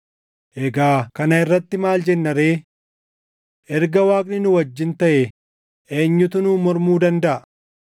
Egaa kana irratti maal jenna ree? Erga Waaqni nu wajjin taʼee eenyutu nuun mormuu dandaʼa?